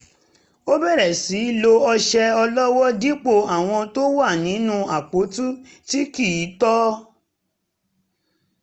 ó bẹ̀rẹ̀ sí í lo ọṣẹ ọlọ́wọ́ dipo àwọn tó wà nínú apoti tí kì í tọ